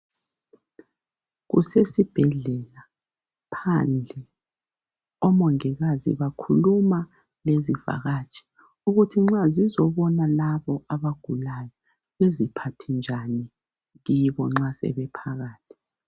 Kusesibhedlela phandle. Omongikazi bakhuluma lezivakatshi ukuthi nxa zizobona labo abagulayo beziphathe njani kibo nxa sebephakathi.